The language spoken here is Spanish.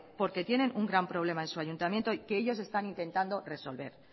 porque tienen un gran problema en su ayuntamiento que ellos están intentando resolver